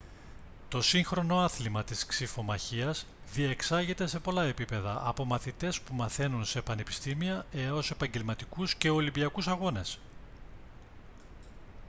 το σύγχρονο άθλημα της ξιφομαχίας διεξάγεται σε πολλά επίπεδα από μαθητές που μαθαίνουν σε πανεπιστήμια έως επαγγελματικούς και ολυμπιακούς αγώνες